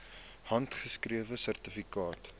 handgeskrewe sertifikate